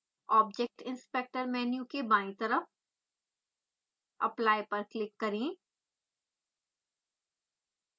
object inspector menu के बायीं तरफ apply पर क्लिक करें